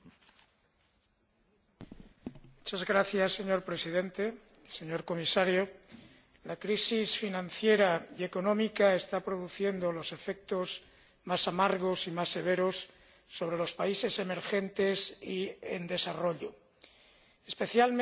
Señor Presidente, señor Comisario, la crisis financiera y económica está produciendo los efectos más amargos y más severos sobre los países emergentes y en desarrollo, especialmente en aquellos que tienen una renta más baja.